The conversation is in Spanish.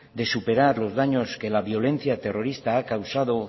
de superar los daños que la violencia terrorista ha causado